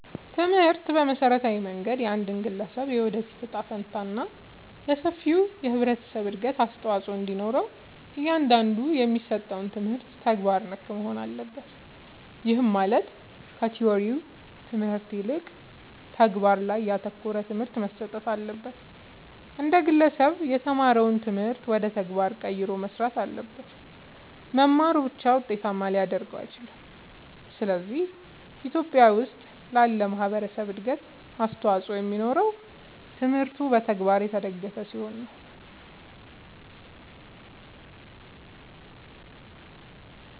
ትምህርት በመሠረታዊ መንገድ የአንድን ግለሠብ የወደፊት እጣ ፈንታ እና ለሠፊው የህብረተሠብ እድገት አስተዋፅኦ እንዲኖረው እያንዳንዱ የሚሠጠው ትምህርት ተግባር ነክ መሆን አለበት። ይህም ማለት ከቲወሪው ትምህርት ይልቅ ተግባር ላይ ያተኮረ ትምህርት መሠጠት አለበት። አንድ ግለሠብ የተማረውን ትምህርት ወደ ተግባር ቀይሮ መሥራት አለበት። መማሩ ብቻ ውጤታማ ሊያደርገው አይችልም። ስለዚህ በኢትዮጲያ ውስጥ ላለ ማህበረሠብ እድገት አስተዋፅኦ የሚኖረው ትምህርቱ በተግባር የተደገፈ ሲሆን ነው።